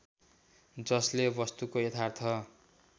जसले वस्तुको यथार्थ